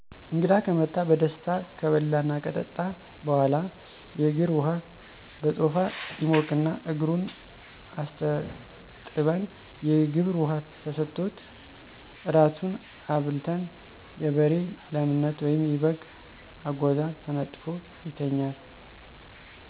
እንግዳ ከመጣ በደስታ ከበላና ከጠጣ በኋላ :የእግር ዉሃ በቶፋ ይሞቅና እግሩን አስታጥበን የግብር ውሃ ተሠጥቶት። ራቱን አብልተን የበሬ ላምነት ወይም የበግ አጎዛ ተነጥፎ ይተኛል።